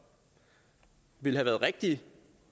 ville have været rigtige